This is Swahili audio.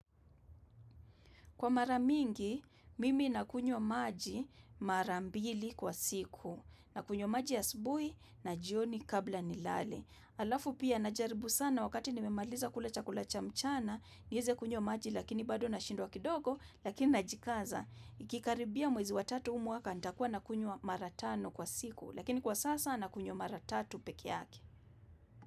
Kwa maramingi, mimi nakunywa maji marambili kwa siku, nakunywa maji ya asubuhi na jioni kabla nilale. Alafu pia najaribu sana wakati nimemaliza kula chakula cha mchana, niweze kunywa maji lakini bado nashindwa kidogo, lakini najikaza. Ikikaribia mwezi wa tatu huu mwaka, nitakuwa nakunywa maratano kwa siku, lakini kwa sasa na kunywa maratatu peke yake.